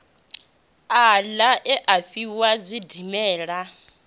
aḽa e a fhisa zwidimela